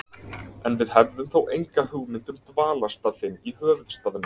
En við hefðum þó enga hugmynd um dvalarstað þinn í höfuðstaðnum.